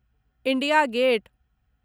India gate